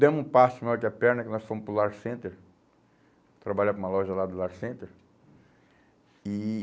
Demos um passo maior que a perna que nós fomos para o Lar Center, trabalhar para uma loja lá do Lar Center. E